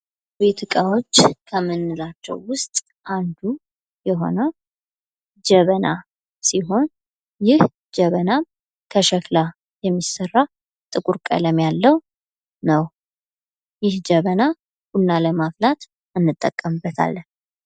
የቤት እቃዎች ከምንላቸው ውስጥ አንዱ የሆነው ጀበና ሲሆን ይህ ጀበና ከሸክላ የሚሠራ ጥቁር ቀለም ያለው ነው ።ይህ ጀበና ቡና ለማፍላት እንጠቀምበታለን።